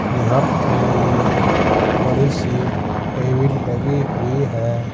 यहां पे ये बड़ी सी टेबिल लगी हुई है।